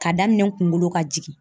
Ka daminɛ n kunkolo ka jigin.